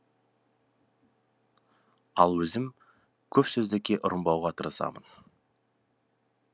ал өзім көпсөзділікке ұрынбауға тырысамын